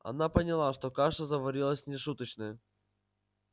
она поняла что каша заварилась нешуточная